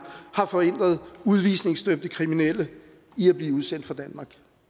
har forhindret udvisningsdømte kriminelle i at blive udsendt fra danmark